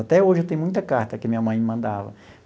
Até hoje, eu tenho muita carta que a minha mãe me mandava.